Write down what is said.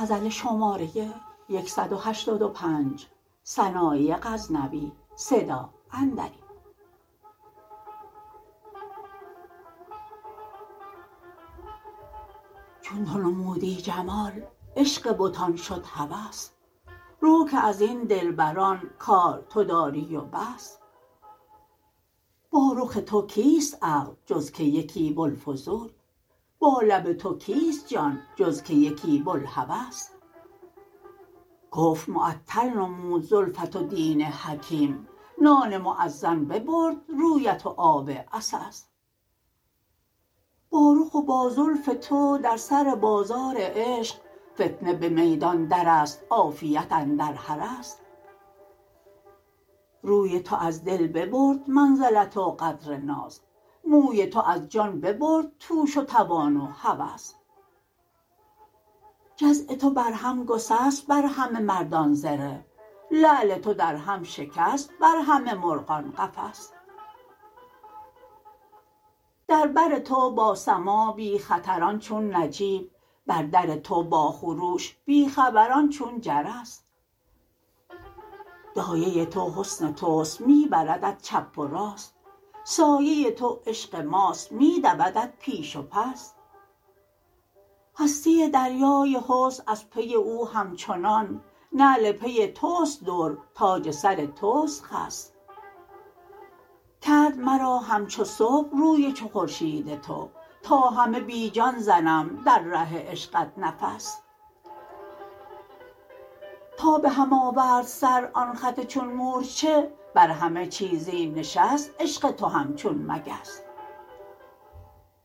چون تو نمودی جمال عشق بتان شد هوس رو که ازین دلبران کار تو داری و بس با رخ تو کیست عقل جز که یکی بلفضول با لب تو کیست جان جز که یکی بلهوس کفر معطل نمود زلفت و دین حکیم نان موذن ببرد رویت و آب عسس با رخ و با زلف تو در سر بازار عشق فتنه به میدان درست عافیت اندر حرس روی تو از دل ببرد منزلت و قدر ناز موی تو از جان ببرد توش و توان و هوس جزع تو بر هم گسست بر همه مردان زره لعل تو در هم شکست بر همه مرغان قفس در بر تو با سماع بی خطران چون نجیب بر در تو با خروش بی خبران چون جرس دایه تو حسن توست میبردت چپ و راست سایه تو عشق ماست میدودت پیش و پس هستی دریای حسن از پی او همچنان نعل پی تست در تاج سر تست خس کرد مرا همچو صبح روی چو خورشید تو تا همه بی جان زنم در ره عشقت نفس تا به هم آورد سر آن خط چون مورچه بر همه چیزی نشست عشق تو همچون مگس